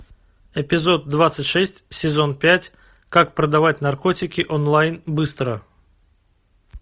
эпизод двадцать шесть сезон пять как продавать наркотики онлайн быстро